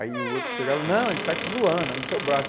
Aí o outro chegava, não, ele está te zoando, é no seu braço.